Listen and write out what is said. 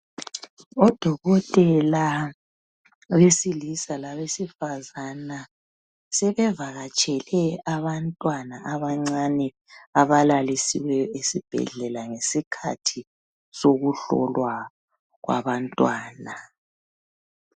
Odokotela besilisa labesifazana sebevakatshele abantwana abancane abalalisiweyo esibhedlela ngesikhathi sokuhlolwa kwabantwana.